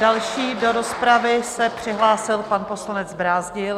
Další do rozpravy se přihlásil pan poslanec Brázdil.